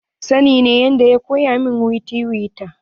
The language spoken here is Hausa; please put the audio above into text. Sani ne ya koya min yadda ake tiwita.